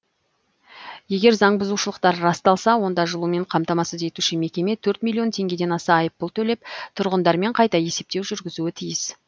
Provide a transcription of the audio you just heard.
егер заңбұзушылықтар расталса онда жылумен қамтамасыз етуші мекеме төрт миллион теңгеден аса айыппұл төлеп тұрғындармен қайта есептеу жүргізуі тиіс